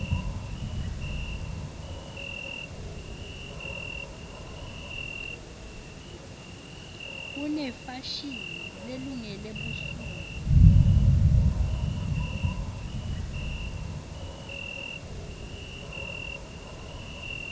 kunefashini lelungele busuku